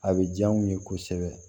A bɛ diya u ye kosɛbɛ